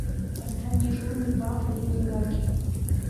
поставь дежурный папа летний лагерь